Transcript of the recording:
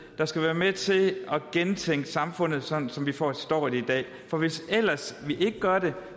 der skal være med til at gentænke samfundet sådan som vi forstår det i dag for hvis vi ikke gør det